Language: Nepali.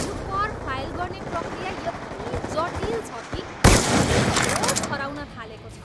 यो कर फाइल गर्ने प्रक्रिया यति जटिल छ कि मेरो त होस हराउन थालेको छ!